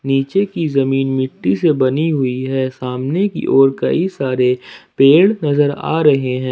नीचे की जमीन मिट्टी से बनी हुई है सामने की ओर कई सारे पेड़ नजर आ रहे हैं।